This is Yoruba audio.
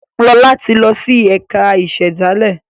Lọla tí lọ sì ẹka ìsèdálè.